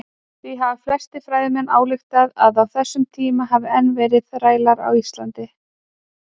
Því hafa flestir fræðimenn ályktað að á þessum tíma hafi enn verið þrælar á Íslandi.